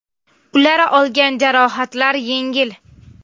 Ular olgan jarohatlar yengil.